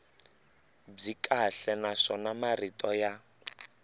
byi kahle naswona marito ya